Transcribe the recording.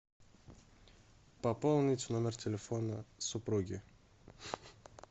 пополнить номер телефона супруги